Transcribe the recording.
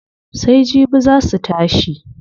Sai jibi zaa su tashi.